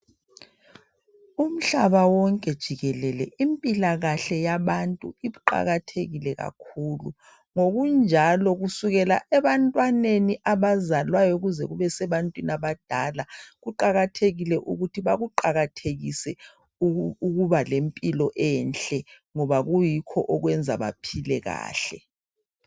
Umhlaba wonke jikelele impilakahle yabantu iqakathekile kakhulu ngokunjalo kusukela ebantwaneni abazalwayo kuze kube sebantwini abadala kuqakathekile ukuthi bakuqakathekise ukuba lempilo enhle ngoba kuyikho okubenza baphile kahle.